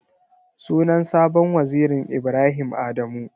Sunan sabon wazirin Ibrahim Adamu.